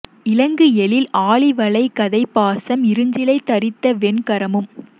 இலங்கு எழில் ஆழி வளை கதை பாசம் இருஞ்சிலை தரித்த வெண் கரமும்